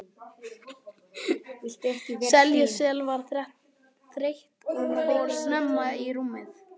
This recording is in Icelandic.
Sesselja var þreytt og fór snemma í rúmið.